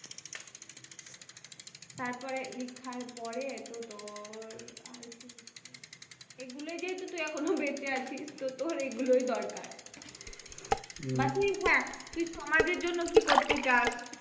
তারপরে লেখার পরে তো তোর আর কি লিখবি, এগুলো যেহেতু তুই এখনো বেঁচে আছিস তো তোর এগুলোই দরকার, বা তুই হ্যাঁ, তুই সমাজের জন্য কি করতে চাস।